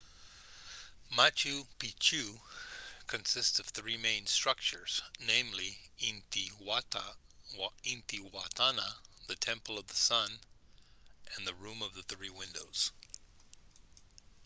machu picchu consist of three main structures namely intihuatana the temple of the sun and the room of the three windows